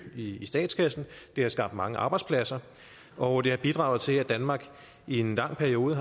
i statskassen det har skabt mange arbejdspladser og det har bidraget til at danmark i en lang periode